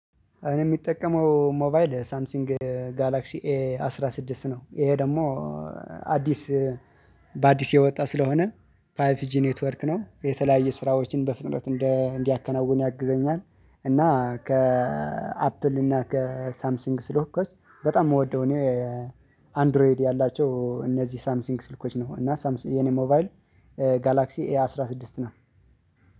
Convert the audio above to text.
እኔ የሚጠቀመው ሞባይል ሳምሲንግ ጋላክሲ ኤ አስራ ስድስት ነው። ይሄ ደግሞ አዲስ በአዲስ የወጣ ስለሆነ። ፋይቭ ጂ ኔትወርክ ነው የተለያየ ስራዎችን በፍጥነት እንዲያከናውን ያግዘኛል። እና ከ አፕል እና ከ ሳምሲንግ ስልኮች በጣም የምወደው እኔ አንድሮይድ ያላቸው እነዚህ ሳምሲንግ ስልኮች ነው። እና የኔ ሞባይል ጋላክሲ ኤ አስራ ስድስት ነው።